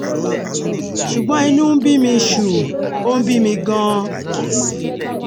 ṣùgbọ́n inú ń bí mi ṣùù ó ń bí mi gan-an